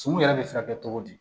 Suman yɛrɛ bɛ se ka kɛ cogo di